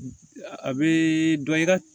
A bɛ dɔ i ka